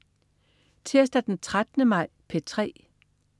Tirsdag den 13. maj - P3: